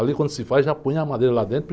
Ali, quando se faz, já põe a madeira lá dentro.